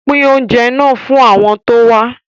Pín oúnjẹ náà fún àwọn tó wá